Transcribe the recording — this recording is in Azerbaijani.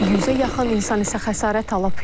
Yüzə yaxın insan isə xəsarət alıb.